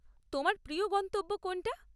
তোমার প্রিয় গন্তব্য কোনটা?